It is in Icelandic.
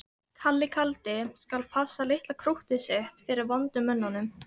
Kalli kaldi skal passa litla krúttið sitt fyrir vondu mönnunum.